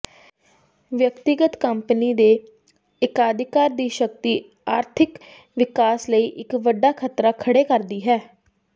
ਵਿਅਕਤੀਗਤ ਕੰਪਨੀ ਦੇ ਏਕਾਧਿਕਾਰ ਦੀ ਸ਼ਕਤੀ ਆਰਥਿਕ ਵਿਕਾਸ ਲਈ ਇੱਕ ਵੱਡਾ ਖਤਰਾ ਖੜ੍ਹੇ ਕਰਦੀ ਹੈ